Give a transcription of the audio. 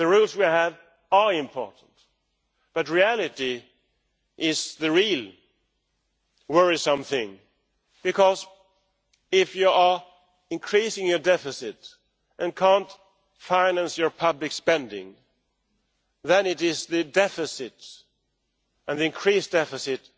The rules we have are important, but reality is the really worrisome thing, because if you are increasing your deficit and cannot finance your public spending then it is the deficit and the increased deficit